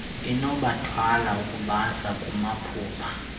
enokubathwala ukubasa kumaphupha